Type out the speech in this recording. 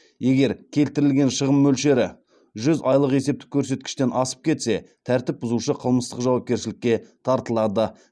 егер келтірілген шығын мөлшері жүз айлық есептік көрсеткіштен асып кетсе тәртіп бұзушы қылмыстық жауапкершілікке тартылады